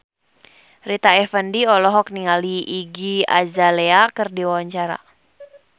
Rita Effendy olohok ningali Iggy Azalea keur diwawancara